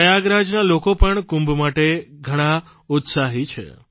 પ્રયાગરાજના લોકો પણ કુંભ માટે ઘણા ઉત્સાહી છે